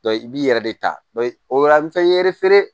i b'i yɛrɛ de ta dɔn o la an bɛ fɛn ye